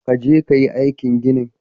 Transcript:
Ka je ka yi aikin ginin.